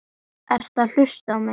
Ertu að hlusta á mig?